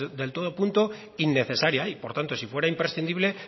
de todo punto innecesaria y por tanto si fuera imprescindible